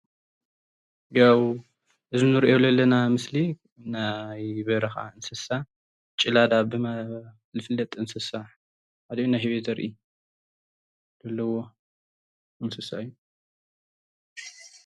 ያው እዚ እንሪኦ ለለና ምስሊ ናይ በረካ እንስስ ጭላዳ ዝፍለጥ እንስሳ ህበይ ዘርኢ ምስሊ እዩ፡፡